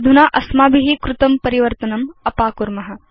अधुना अस्माभि कृतं परिवर्तनम् अपाकुर्म